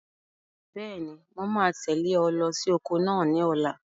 Bẹ́ẹ̀ni, mo máa tẹ̀lé ọ lọ sí oko náà ní ọ̀la.